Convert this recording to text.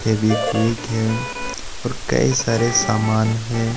फेवीक्विक है और कई सारे सामान हैं।